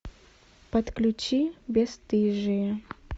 подключи бесстыжие